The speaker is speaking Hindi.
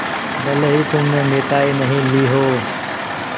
भले ही तुमने मिठाई नहीं ली हो